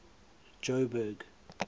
jo'burg